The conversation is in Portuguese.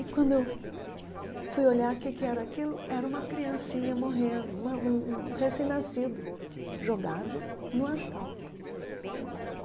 E quando eu fui olhar o que que era aquilo, era uma criancinha morrendo, uma um um recém-nascido jogado no asfalto.